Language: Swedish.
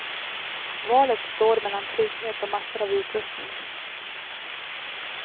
Valet står mellan trygghet och massor av utrustning.